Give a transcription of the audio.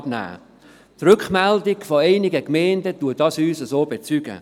Die Rückmeldung vonseiten einiger Gemeinden bestätigt uns dies.